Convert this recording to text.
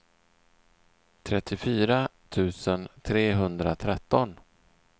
trettiofyra tusen trehundratretton